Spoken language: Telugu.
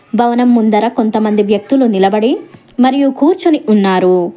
భవనం ముందర కొంతమంది వ్యక్తులు నిలబడి మరియు కూర్చుని ఉన్నారు.